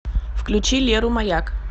включи леру маяк